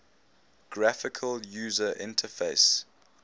graphical user interface